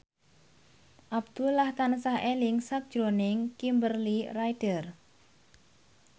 Abdullah tansah eling sakjroning Kimberly Ryder